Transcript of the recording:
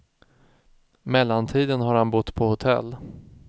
Mellantiden har han bott på hotell.